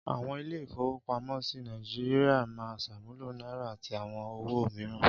Àwọn ilé-ìfowópamọ́sí Nàìjíríà máa ń ṣàmúlò náírà àti àwọn owó òmíràn.